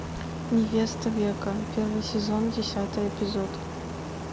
невеста века первый сезон десятый эпизод